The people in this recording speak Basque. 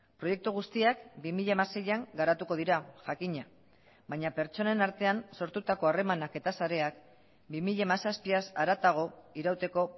proiektu guztiak bi mila hamaseian garatuko dira jakina baina pertsonen artean sortutako harremanak eta sareak bi mila hamazazpiaz haratago irauteko